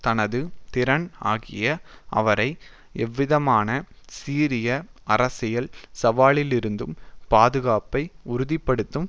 தனது திறன் ஆகியன அவரை எந்தவிதமான சீரிய அரசியல் சவாலிலிருந்தும் பாதுகாப்பை உறுதி படுத்தும்